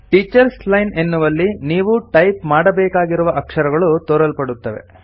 teachers line ಎನ್ನುವಲ್ಲಿ ನೀವು type ಮಾಡಬೇಕಾಗಿರುವ ಅಕ್ಷರಗಳು ತೋರಲ್ಪಡುತ್ತವೆ